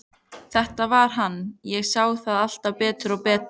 Þetta var hann, ég sá það alltaf betur og betur.